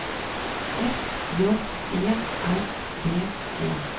F J E R D E